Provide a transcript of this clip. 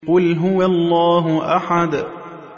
قُلْ هُوَ اللَّهُ أَحَدٌ